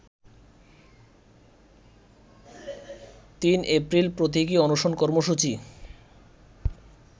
৩ এপ্রিল প্রতীকি অনশন কর্মসূচি